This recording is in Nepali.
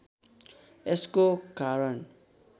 यसको कारण